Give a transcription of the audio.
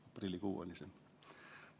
Aprillikuu oli see.